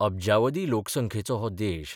अब्जावधी लोकसंख्येचो हो देश.